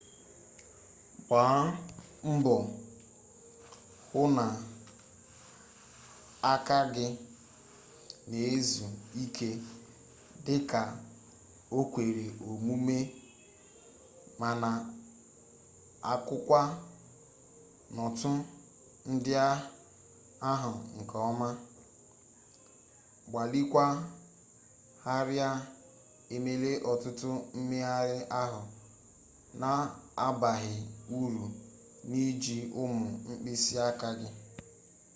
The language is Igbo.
gbaa mbọ hụ n'aka gị na-ezu ike dị ka o kwere omume ma na-akụkwa nootụ ndị ahụ nke ọma gbalịkwaa ghara emela ọtụtụ mmegharị ahụ na-abaghị uru n'iji ụmụ mkpịsị aka gị